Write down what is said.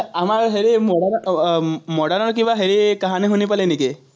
আমাৰ হেৰি modern ৰ কিবা হেৰি শুনি পালি নেকি?